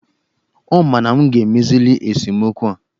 Ọ ma na m ga-emezili esemokwu a?